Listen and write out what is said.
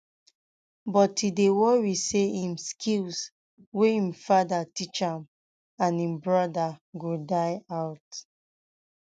um but e dey worry say im skills wey im father teach im and im brother go die out